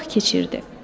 Vaxt keçirdi.